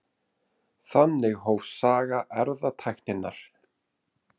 Þannig hófst saga erfðatækninnar.